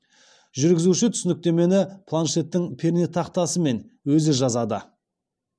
жүргізуші түсініктемені планшеттің пернетақтасымен өзі жазады